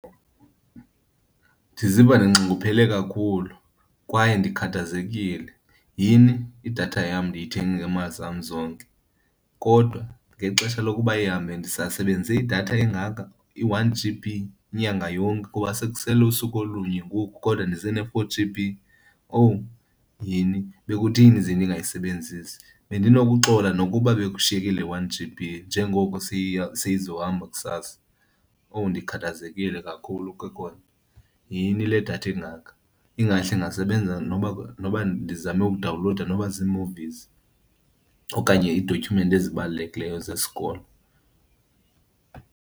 Ndiziva ndinxunguphele kakhulu kwaye ndikhathazekile. Yini, idatha yam ndiyithenge ngeemali zam zonke! Kodwa ngexesha lokuba ihambe ndisasebenzise idatha engaka, i-one G_B inyanga yonke kuba sekusele usuku olunye ngoku kodwa ndisene-four G_B. Owu yini! Bekutheni ze ndingayisebenzisi? Bendinokuxola nokuba bekushayeke le one G_B njengokU seyizohamba kusasa. Oh, ndikhathazekile kakhulu ke kona! Yini le datha ingaka! Ingahle ingasebenza noba, noba ndizame udawunlowuda noba zii-movies okanye iidotyhumenti ezibalulekileyo zesikolo.